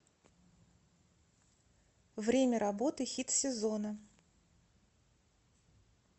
время работы хит сезона